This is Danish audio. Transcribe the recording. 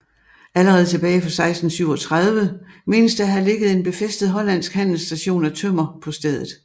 Allerede tilbage fra 1637 menes der at have ligget en befæstet hollandsk handelsstation af tømmer på stedet